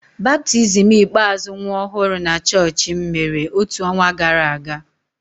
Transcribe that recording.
Baptizim ikpeazụ nwa ọhụrụ na chọọchị m mere otu ọnwa gara aga.